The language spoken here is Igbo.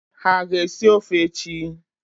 Ha aga-esi ọfe echi?